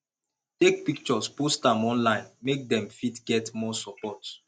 take pictures post am online make dem fit get more support